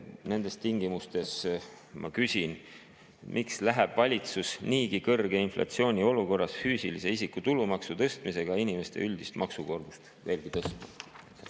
Nendes tingimustes ma küsin: miks läheb valitsus niigi kõrge inflatsiooni olukorras füüsilise isiku tulumaksu tõstmisega inimeste üldist maksukoormust veelgi tõstma?